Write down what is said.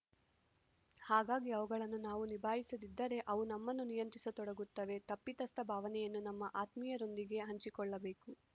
ಹಾಗಾಗಿ ಅವುಗಳನ್ನು ನಾವು ನಿಭಾಯಿಸದಿದ್ದರೆ ಅವು ನಮ್ಮನ್ನು ನಿಯಂತ್ರಿಸತೊಡಗುತ್ತವೆ ತಪ್ಪಿತಸ್ಥ ಭಾವನೆಯನ್ನು ನಮ್ಮ ಆತ್ಮೀಯರೊಂದಿಗೆ ಹಂಚಿಕೊಳ್ಳಬೇಕು